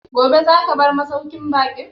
Gobe za ka bar masauƙin baƙin?